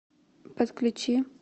подключи